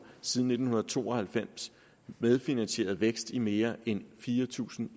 siden nitten to og halvfems medfinansieret vækst i mere end fire tusind